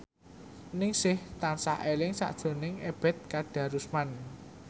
Ningsih tansah eling sakjroning Ebet Kadarusman